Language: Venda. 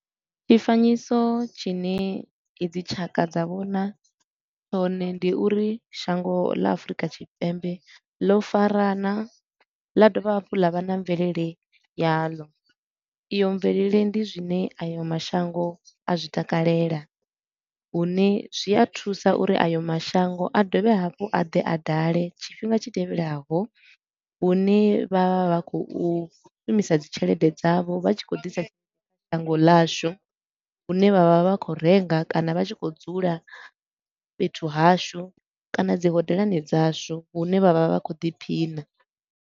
Tshifanyiso tshine i dzi tshaka dza vhona tshone ndi uri shango ḽa Afurika Tshipembe ḽo farana ḽa dovha hafhu ḽa vha na mvelele yaḽo. Iyo mvelele ndi zwine ayo mashango a zwi takalela, hune zwi a thusa uri ayo mashango a dovhe hafhu a ḓe a dale tshifhinga tshi tevhelaho, hune vha vha vha khou shumisa dzi tshelede dzavho vha tshi khou ḓisa kha shango ḽashu. Hune vha vha vha khou renga kana vha tshi khou dzula fhethu hashu kana dzi hodelani dzashu, hune vha vha vha khou ḓiphina.